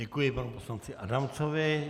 Děkuji panu poslanci Adamcovi.